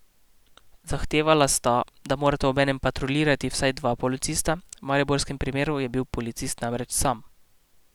Zahtevala sta, da morata obenem patruljirati vsaj dva policista, v mariborskem primeru je bil policist namreč sam.